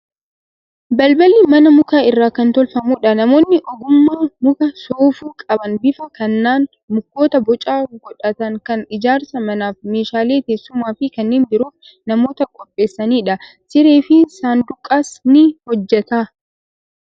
Balballi manaa muka irraa kan tolfamudha. Namoonni ogummaa muka soofuu qaban bifa kanaan mukoota boca godhatan kana ijaarsa manaaf, meeshaalee teessumaa fi kanneen biroof namoota qopheessanidha. Siree fi saanduqas ni hojjeta.